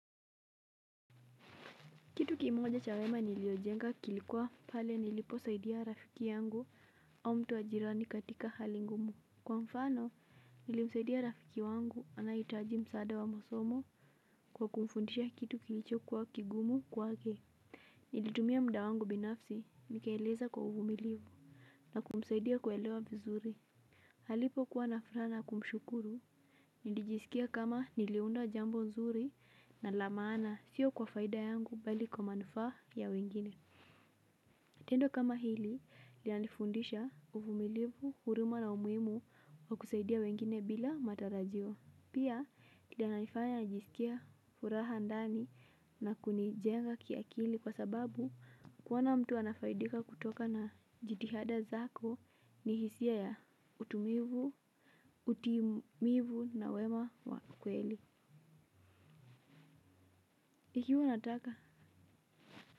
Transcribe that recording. Kitu kimoja cha wema niliojenga kilikuwa pale niliposaidia rafiki yangu au mtu wa jirani katika hali ngumu. Kwa mfano nilimsaidia rafiki wangu anaitaji msaada wa masomo kwa kumfundisha kitu kilicho kwa kigumu kwa ke. Nilitumia mda wangu binafsi nikieleza kwa uvumiliu na kumsaidia kuelewa bizuri alipokuwa na furaha na kumshukuru, nilijisikia kama niliunda jambo nzuri na la maana sio kwa faida yangu bali kwa manufaa ya wengine. Tendo kama hili, linanifundisha uvumilivu, huruma na umuhimu wa kusaidia wengine bila matarajio. Pia, kinanifanya najisikia furaha ndani na kunijenga kiakili kwa sababu kuona mtu anafaidika kutoka na jitihada zako ni hisia ya utumivu na wema kweli. Ikiwa nataka.